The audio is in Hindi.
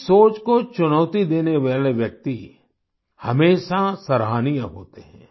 इस सोच को चुनौती देने वाले व्यक्ति हमेशा सराहनीय होते हैं